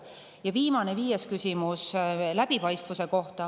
Ja viimane, viies küsimus on läbipaistvuse kohta.